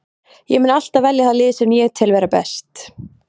Ég mun alltaf velja það lið sem ég tel vera best.